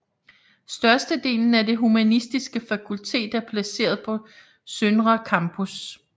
Størstedelen af Det Humanistiske Fakultet er placeret på Søndre Campus